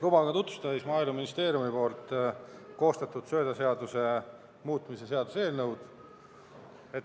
Lubage tutvustada Maaeluministeeriumi koostatud söödaseaduse muutmise seaduse eelnõu.